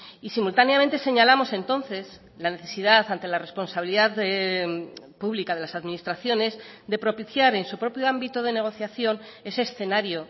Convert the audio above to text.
y simultáneamente señalamos entonces la necesidad ante la responsabilidad pública de las administraciones de propiciar en su propio ámbito de negociación ese escenario